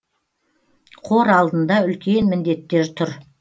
қор алдында үлкен міндеттер тұр